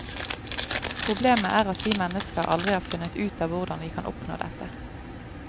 Problemet er at vi mennesker aldri har funnet ut av hvordan vi kan oppnå dette.